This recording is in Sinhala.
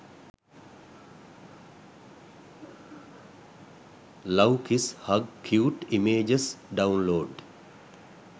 love kiss hug cute images download